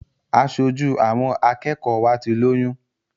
Aṣojú àwọn akẹ́kọ̀ọ́ wa ti lóyún.